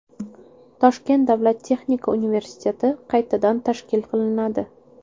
Toshkent davlat texnika universiteti qaytadan tashkil qilinadi.